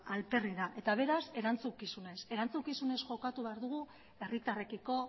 alperrik da eta beraz erantzukizunez erantzukizunez jokatu behar dugu herritarrekiko